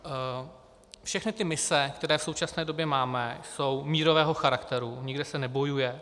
Všechny ty mise, které v současné době máme, jsou mírového charakteru, nikde se nebojuje.